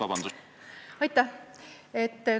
Aitäh!